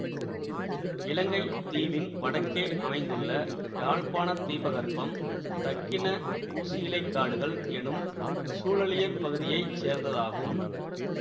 இலங்கை தீவின் வடக்கே அமைந்துள்ள யாழ்ப்பாண தீபகற்பம் தக்கிண ஊசியிலைக் காடுகள் எனும் சூழலியற் பகுதியை சேர்ந்ததாகும்